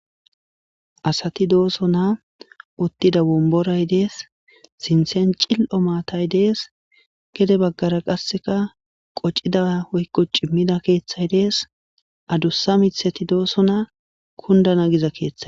asati doosona uttida womboray dees sinthen cil7o maatay dees gede baggara qasseka qocida woykko cimmida keeththay dees adussa mithati doosona kundana giza keeththay